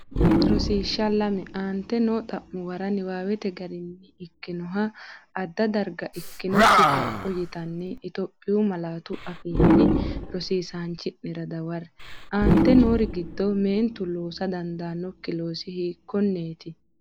Rosiishsh Lame Aante noo xa’muwara niwaawete garinni ikkinoha adda gara ikkinokki kapho yitinanni Itophiyu malaatu afiinni rosiisaanchi’nera dawarre, Aante noori giddo meentu loosa dandiitannokki loosi hiikkonneeti?